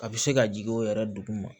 A bɛ se ka jigin o yɛrɛ duguma